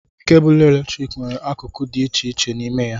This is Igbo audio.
Kebụlụ eletrik nwere akụkụ dị iche iche n'ime ya.